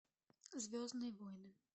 звездные войны